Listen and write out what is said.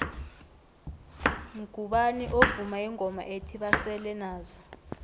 mgubani ovuma ingoma ethi basele nazo